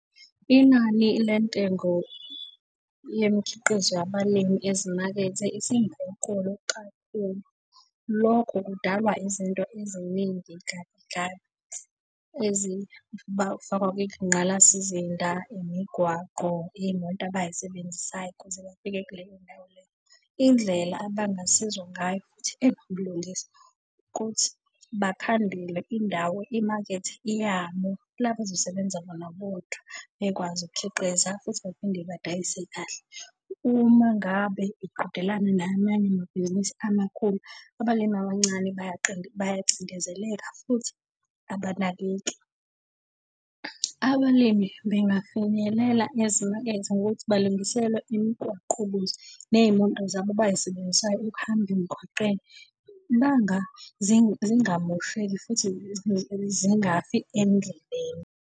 Inani lentengo yemikhiqizo yabalimi ezimakethe . Lokho kudalwa izinto eziningi bafakwa kwingqalasizinda, imigwaqo, iy'moto abay'sebenzisayo ukuze bafike kuleyo ndawo leyo. Indlela abangasizwa ngayo ukuthi bakhandelwe indawo imakethe yabo la abazosebenza bona bodwa bekwazi ukukhiqiza futhi baphinde badayise kahle. Uma ngabe iqhudelana namanye amabhizinisi amakhulu, abalimi abancane bayacindezeleka futhi abanakeki. Abalimi bengafinyelela ezimakethe ngokuthi balungiselwe imigwaqo ukuze ney'moto zabo abay'sebenzisayo ukuhamba emgwaqeni zingamosheki futhi zingafi endleleni.